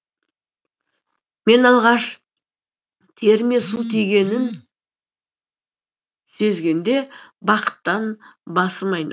мен алғаш теріме су тигенін сезгенде бақыттан басым айналды